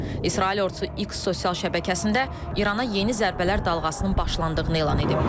İsrail ordusu X sosial şəbəkəsində İrana yeni zərbələr dalğasının başlandığını elan edib.